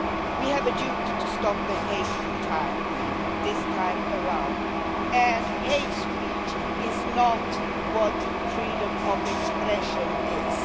We have a duty to stop the hate in time this time around, and hate speech is not what freedom of expression is.